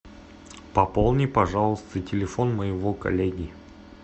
пополни пожалуйста телефон моего коллеги